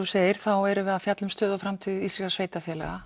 segir þá erum við að fjalla um stöðu og framtíð íslenskra sveitarfélaga